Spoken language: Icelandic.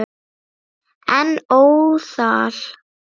En óðal.